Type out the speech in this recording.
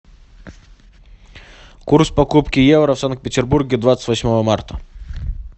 курс покупки евро в санкт петербурге двадцать восьмого марта